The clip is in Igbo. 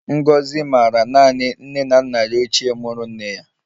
Ngozi maara naanị nne na nna ya ochie muru nne ya